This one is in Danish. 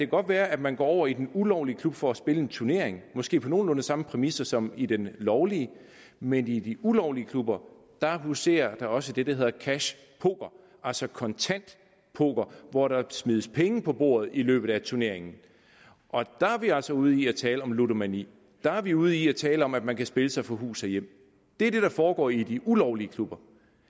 godt være at man går over i den ulovlige klub for spille en turnering måske på nogenlunde samme præmisser som i den lovlige men i de ulovlige klubber huserer der også det der hedder cash poker altså kontant poker hvor der smides penge på bordet i løbet af turneringen og der er vi altså ude i at tale om ludomani der er vi ude i at tale om at man kan spille sig fra hus og hjem det er det der foregår i de ulovlige klubber